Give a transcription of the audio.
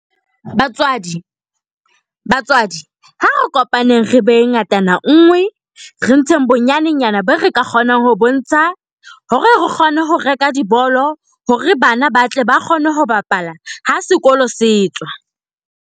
Batswadi. Batswadi, ha re kopaneng re be ngatananngwe. Re ntsheng bonyanenyana be re ka kgonang ho bo ntsha hore re kgone ho reka dibolo hore bana ba tle ba kgone ho bapala ha sekolo se tswa.